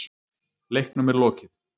Leiknum er lokið